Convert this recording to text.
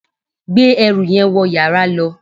gbé ẹrù yẹn wọ yàrá lọ